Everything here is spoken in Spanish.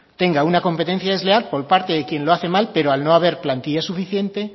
tenga una competencia desleal por parte de quien lo hace mal pero al no haber plantilla suficiente